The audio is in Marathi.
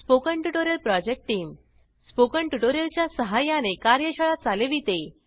spoken tutorial project team spoken tutorials च्या सहाय्याने कार्यशाळा चालविते